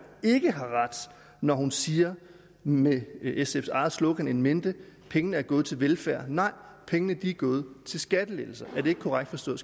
ikke har ret når hun siger med sfs eget slogan in mente at pengene er gået til velfærd nej pengene er gået til skattelettelser er det ikke korrekt forstået